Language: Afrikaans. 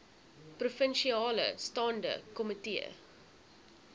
provinsiale staande komitee